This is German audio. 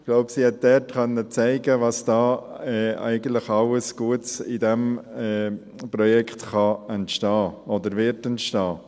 Ich glaube, sie konnte dort zeigen, was da eigentlich alles Gutes in diesem Projekt entstehen kann oder entstehen wird.